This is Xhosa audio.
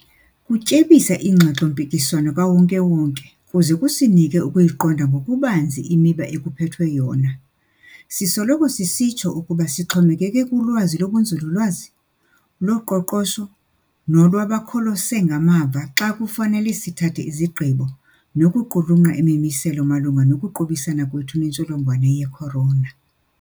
Kutyebisa ingxoxo-mpikiswano kawonke-wonke kuze kusinike ukuyiqonda ngokubanzi imiba ekuphethwe yona. Sisoloko sisitsho ukuba sixhomekeke kulwazi lobunzululwazi, loqoqosho nolwabakholose ngamava xa kufanele sithathe izigqibo nokuqulunqa imimiselo malunga nokuqubisana kwethu nentsholongwane ye-corona.